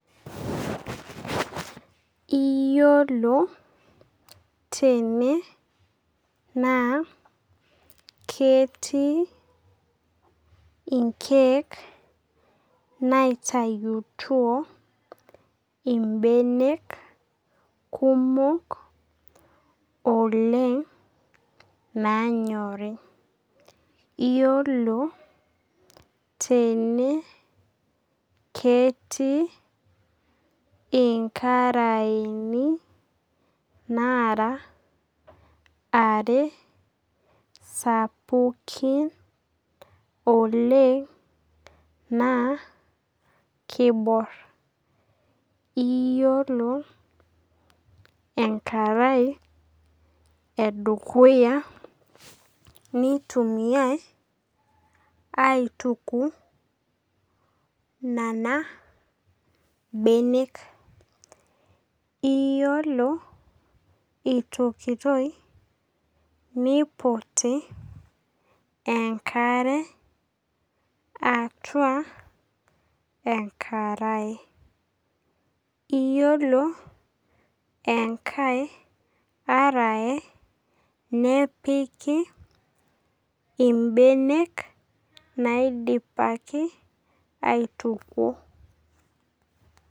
Iyiolo tene naa ketii inkeek naitayutuo ibenek kumok oleng nanyori. Iyiolo tene ketii inkaraeni nara are sapukin oleng naa kibor. Iyiolo enkarae edukuya nitumiai aituku nena benek. Iyiolo itukutoi, niputi enkare atua enkarae. Iyiolo enkae arae nepiki ibenek naidipaki aituko.